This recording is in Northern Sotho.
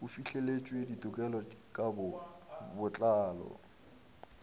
o fihleletše ditekolo ka botlalo